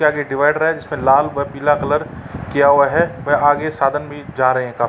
ये आगे डिवाइडर है जिसपे लाल व पीला कलर किया हुआ है। वह आगे साधन भी जा रहे है क--